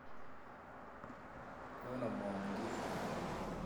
Nyon omwoun kii